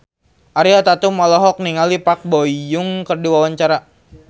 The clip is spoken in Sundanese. Ariel Tatum olohok ningali Park Bo Yung keur diwawancara